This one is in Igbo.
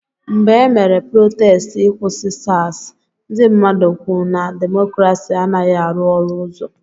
Mgbe emere protestị ị kwụsị SARS, ndị mmadụ kwụ na demokrasi anaghị arụ ọrụ ọzọ.